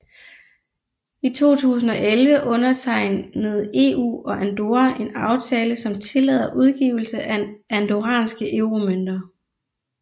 I 2011 undertegnede EU og Andorra en aftale som tillader udgivelse af andorranske euromønter